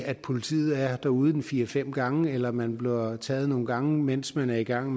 at politiet er derude en fire fem gange eller at man bliver taget nogle gange mens man er i gang